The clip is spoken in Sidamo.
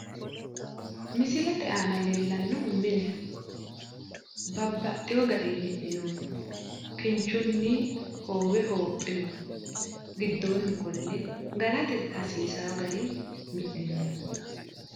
Misilete aana leellannohu mineho babbaxino garinni mi'ninoonniho kinchunni hoowe hoopinoonni giddoonni qolle galate hasiisaa garinni mini'noonni